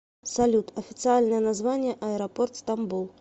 салют официальное название аэропорт стамбул